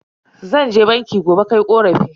Zan je banki gobe kai korafi.